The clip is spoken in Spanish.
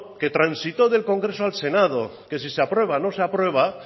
que transitó del congreso al senado que si se aprueba o no se aprueba